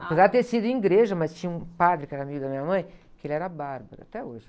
Apesar de ter sido em igreja, mas tinha um padre que era amigo da minha mãe, que ele era bárbaro, até hoje.